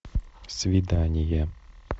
свидание